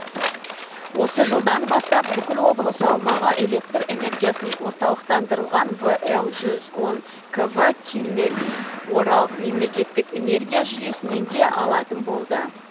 осы жылдан бастап бүкіл облыс аумағы электр энергиясын орталықтандырылған вл жүз он кв киннель орал мемлекеттік энергия жүйесінен де алатын болды